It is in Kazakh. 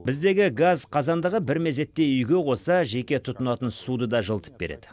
біздегі газ қазандығы бір мезетте үйге қоса жеке тұтынатын суды да жылытып береді